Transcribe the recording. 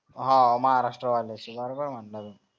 हां महाराष्ट्र वाल्याची बरोबर म्हणलं तू